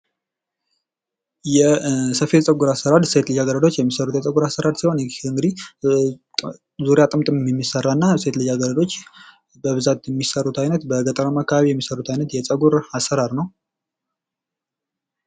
የፀጉር መነቃቀል ለወንዶችም ለሴቶችም የተለመደ ችግር ሲሆን በውርስ፣ በሆርሞን ለውጥ ወይም በጭንቀት ሊከሰት ይችላል